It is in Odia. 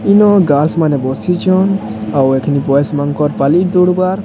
ଏନ ଗାର୍ଲସ୍ ମାନେ ବସିଛନ ଆଉ ଏଖିନି ବାଏଜ ମାନଙ୍କର ପାଲି ଦୁରୁବାର।